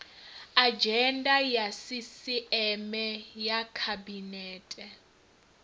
adzhenda ya sisieme ya khabinete